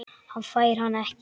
Hann fær hana ekki.